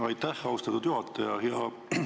Aitäh, austatud juhataja!